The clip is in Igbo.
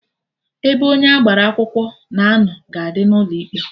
Ebe onye agbara akwụkwọ na-anọ ga-adị n'ụlọ ikpe